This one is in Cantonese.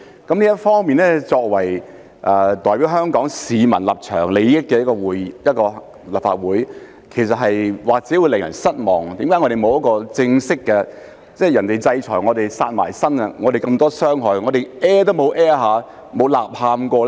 就這方面，作為代表香港市民立場、利益的立法會，或許會令人失望，為何立法會沒有正式回應，別人制裁我們，"殺埋身"，我們受這麼多傷害，但我們完全沒有發聲，沒有吶喊過呢？